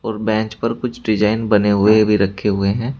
और बेंच पर कुछ डिजाइन बने हुए भी रखे हुए हैं।